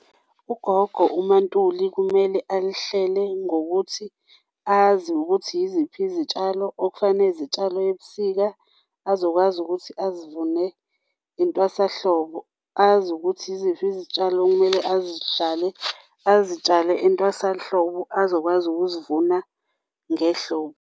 Ugogo uMaNtuli kumele alihlele ngokuthi azi ukuthi yiziphi izitshalo okufane zitshalwe ebusika azokwazi ukuthi azivune entwasahlobo azi ukuthi yiziphi izitshalo okumele azitshale, azitshale entwasahlobo azokwazi ukuzivuna ngehlobo.